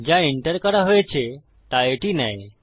যা এন্টার করা হয়েছে তা এটি নেয়